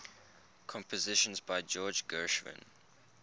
compositions by george gershwin